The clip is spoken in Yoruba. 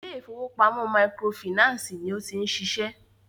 ilé ìfọwọ́pamo microfinancii ní o ti ń ṣiṣẹ́.